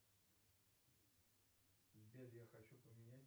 сбер я хочу поменять